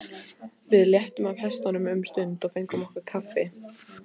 Við léttum af hestunum um stund og fengum okkur kaffi.